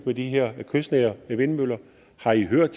med de her kystnære vindmøller har i hørt